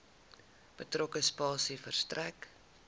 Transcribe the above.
betrokke spasie verstrek